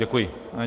Děkuji.